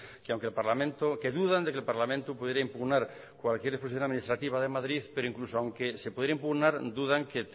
que aunque el parlamento que dudan de que el parlamento podría impugnar cualquier exposición administrativa de madrid pero incluso aunque se pudiera impugnar dudan que